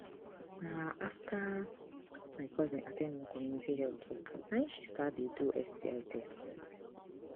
na after my cousin at ten d one community health talk na e she start dey do sti test